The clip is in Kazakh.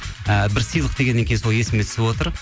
ііі бір сыйлық дегеннен кейін сол есіме түсіп отыр